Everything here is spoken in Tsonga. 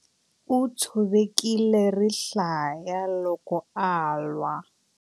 U tshovekile rihlaya loko a lwa.